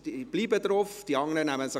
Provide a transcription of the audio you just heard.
Dann bleiben Sie auf der Rednerliste.